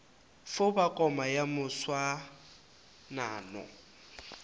fo ba koma ya moswanano